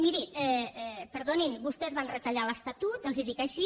miri perdonin vostès van retallar l’estatut els ho dic així